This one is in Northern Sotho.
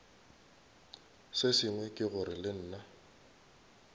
sengwe ke gore le nna